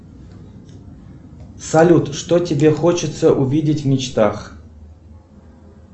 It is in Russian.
салют что тебе хочется увидеть в мечтах